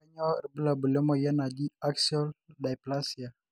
kanyio irbulabul le moyian naji axial dyaplasia